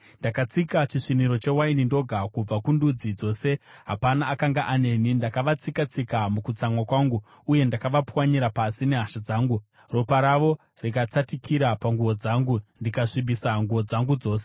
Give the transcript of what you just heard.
“Ndakatsika chisviniro chewaini ndoga; kubva kundudzi dzose hapana akanga aneni. Ndakavatsika-tsika mukutsamwa kwangu uye ndakavapwanyira pasi muhasha dzangu; ropa ravo rikatsatikira panguo dzangu, ndikasvibisa nguo dzangu dzose.